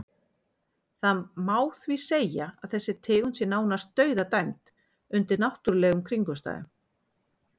Það má því segja að þessi tegund sé nánast dauðadæmd undir náttúrulegum kringumstæðum.